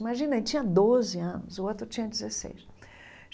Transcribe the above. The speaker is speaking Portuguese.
Imagina, ele tinha doze anos, o outro tinha dezesseis.